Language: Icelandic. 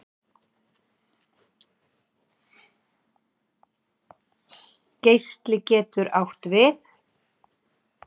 Geisli getur átt við